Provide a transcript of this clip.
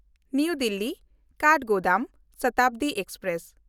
ᱱᱟᱣᱟ ᱫᱤᱞᱞᱤ–ᱠᱟᱴᱷᱜᱳᱫᱟᱢ ᱥᱚᱛᱟᱵᱫᱤ ᱮᱠᱥᱯᱨᱮᱥ